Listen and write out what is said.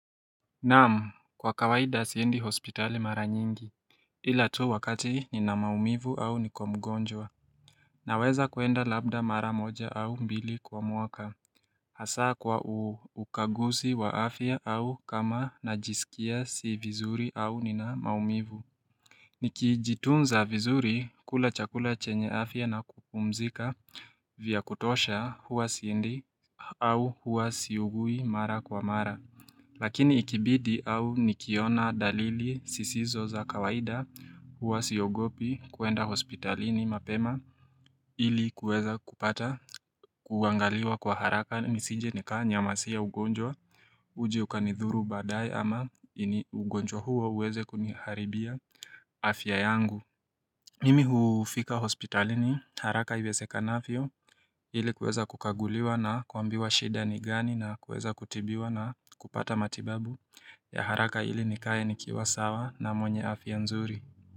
Naam kwa kawaida siendi hospitali mara nyingi Ilatu wakati nina maumivu au nikomgonjwa Naweza kwenda labda mara moja au mbili kwa mwaka Hasaa kwa ukaguzi wa afya au kama najisikia si vizuri au nina maumivu Nikijitunza vizuri kula chakula chenye afya na kupumzika vya kutosha huwa siendi au huwa siugui mara kwa mara Lakini ikibidi au nikiona dalili sisizo za kawaida huwa siogopi kuenda hospitalini mapema ili kueza kupata kuangaliwa kwa haraka nisinje nikaa nyamasia ugonjwa uji ukanithuru badae ama ugonjwa huwa uweze kuniharibia afya yangu. Mimi hufika hospitalini haraka iweze kanavyo ili kuweza kukaguliwa na kuambiwa shida ni gani na kuweza kutibiwa na kupata matibabu ya haraka ili nikaye nikiwa sawa na mwenye afya nzuri.